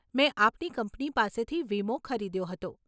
મેં આપની કંપની પાસેથી વીમો ખરીદ્યો હતો.